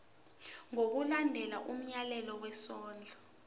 ngokulandela umyalelo wesondlo